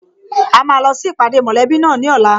A máa lọ sí ìpàdé mọ̀lẹ́bí náà ní ọ̀la